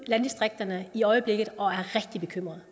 landdistrikterne i øjeblikket og er rigtig bekymrede